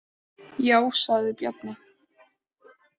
Já, sagði Bjarni.